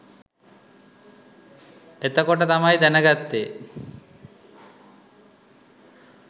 එතකොට තමයි දැනගත්තේ